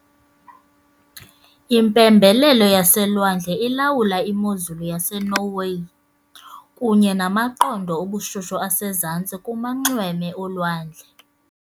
Impembelelo yaselwandle ilawula imozulu yaseNorway, kunye namaqondo obushushu asezantsi kumanxweme olwandle.